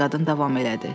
yad qadın davam elədi.